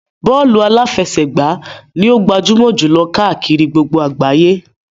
Bọ́ọ̀lù aláfẹsẹ̀gbá ni ó gbajúmọ̀ jù lọ káàkiri gbogbo àgbáyé.